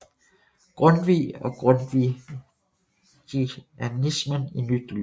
Grundtvig og grundtvigianismen i nyt lys